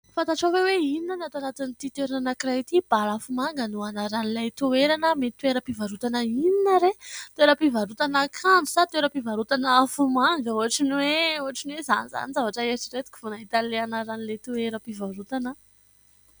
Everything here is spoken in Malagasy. Fantatrao ve hoe inona ny ato anatin'ity toerana anankiray ity ? Balafomanga no anaran'ilay toerana. Mety toeram-pivarotana inona re ? Toeram-pivarotana akanjo sa toeram-pivarotana afomanga ? Ohatra ny hoe ohatra ny hoe zany zany zavatra noeritreretiko vao nahita ny anaran'ilay toeram-pivarotana aho.